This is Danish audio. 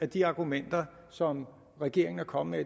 de argumenter som regeringen er kommet